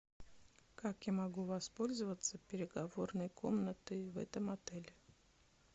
как я могу воспользоваться переговорной комнатой в этом отеле